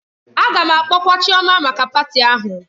A ga-akpọkwa Chioma maka patị ahụ